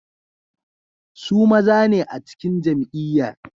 Su maza ne a cikin jam'iyyar.